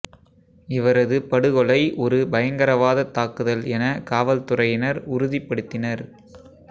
இவரது படுகொலை ஒரு பயங்கரவாதத் தாக்குதல் என காவல்துறையினர் உறுதிப்படுத்தினர்